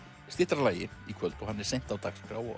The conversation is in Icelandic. styttra lagi í kvöld og hann er seint á dagskrá og